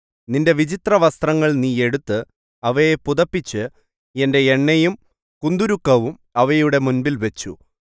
നിന്റെ വിചിത്രവസ്ത്രങ്ങൾ നീ എടുത്ത് അവയെ പുതപ്പിച്ച് എന്റെ എണ്ണയും കുന്തുരുക്കവും അവയുടെ മുമ്പിൽവച്ചു